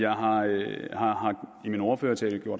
og